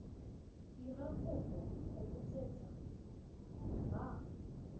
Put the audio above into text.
dira kopo go botseta ba